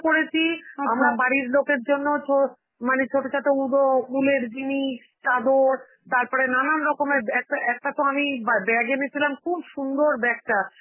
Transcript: করেছি, আমরা বাড়ির লোকের জন্য তোর, মানে ছোটছাট উব~ উলের জিনিস, চাদর, তারপরে নানান রকমের ব্যা~ এক~ একটা তো আমি বা~ bag এনেছিলাম, খুব সুন্দর bag টা